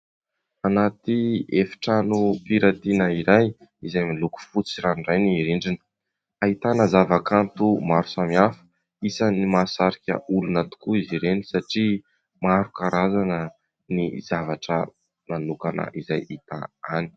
Anaty efitranom- piratiana iray, izay miloko fotsy ranoray ny endriny; ahitana zava-kanto maro samy hafa. Isan'ny mahasarika olona tokoa izy ireny satria maro karazana, ny zavatra manokana izay hita any.